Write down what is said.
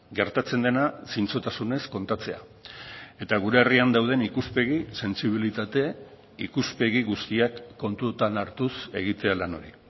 gertatzen dena zintzotasunez kontatzea eta gure herrian dauden ikuspegi sentsibilitate ikuspegi guztiak kontutan hartuz egitea lan hori